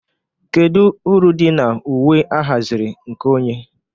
Kedu uru dị na uwe ahaziri nke onye?